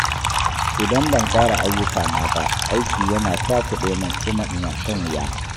Idan ban tsara ayyukana ba, aiki yana cakuɗe min kuma ina shan wuya